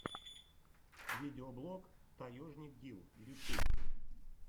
видеоблог таежник гил ютюб